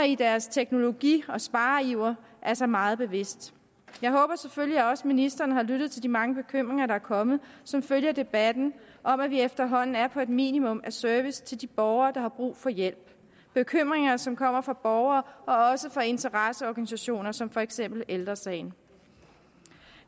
i deres teknologi og spareiver er sig meget bevidst jeg håber selvfølgelig også at ministeren har lyttet til de mange bekymringer der er kommet som følge af debatten om at vi efterhånden er på et minimum af service til de borgere der har brug for hjælp bekymringer som kommer fra borgere og også fra interesseorganisationer som for eksempel ældre sagen